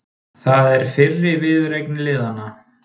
Það er fyrri viðureign liðanna